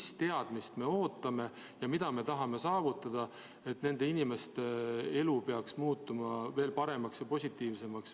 Mis teadmist me ootame ja mida me tahame saavutada, et nende inimeste elu veel paremaks, veel positiivsemaks muutuks?